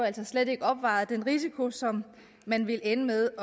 altså slet ikke opvejede den risiko som man ville ende med